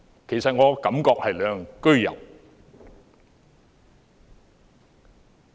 其實，我的感覺是兩樣俱有。